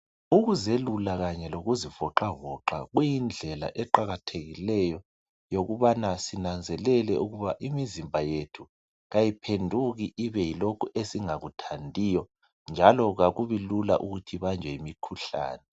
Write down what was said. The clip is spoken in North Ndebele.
ukuzelula kanye lokuzivoxavoxa kuyindlela eqakathekileyo yokubana sinanzelele ukuba imizimba yethu kayiphenduki ibe yilokhu esingakuthandiyo njalo kakubi lula ukuthi ibanjwe yimi khuhlane